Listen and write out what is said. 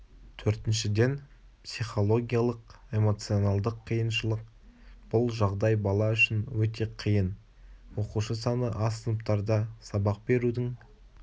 төртіншіден психологиялық эмоционалдық қиыншылық бұл жағдай бала үшін өте қиын оқушы саны аз сыныптарда сабақ берудің